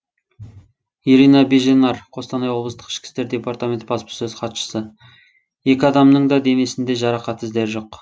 ирина беженарь қостанай облыстық ішкі істер департаменті баспасөз хатшысы екі адамның да денесінде жарақат іздері жоқ